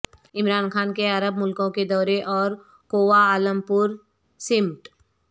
عمران خان کے عرب ملکوں کے دورے اور کوالالمپور سمٹ